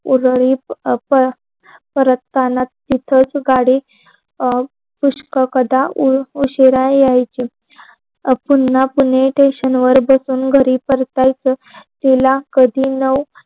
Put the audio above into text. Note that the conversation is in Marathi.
उदरीत परतताना तिथंच गाडी अं पुष्ककदा ऊ उशिरा यायच. पुन्हा कोणी टेशनवर बसून घरी परतायच. तिला कधी नउ